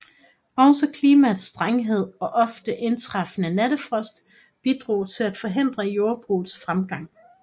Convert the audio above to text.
Også klimaets strenghed og ofte indtræffende nattefrost bidrog til at forhindre jordbrugets fremgang